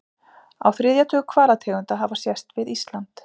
Á þriðja tug hvalategunda hafa sést við Ísland.